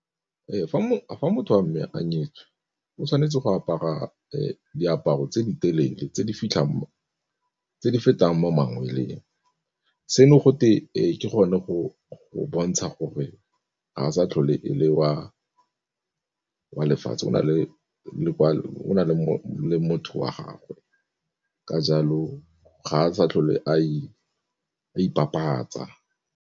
Fa motho wa mme a nyetswe o tshwanetse go apara diaparo tse di telele tse di fetang mo mangweleng, seno gote ke gone go go bontsha gore ga a sa tlhole e le wa lefatshe o na o na le motho wa gagwe ka jalo ga a sa tlhole a ipapatsa.